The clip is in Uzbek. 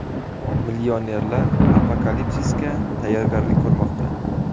Millionerlar apokalipsisga tayyorgarlik ko‘rmoqda.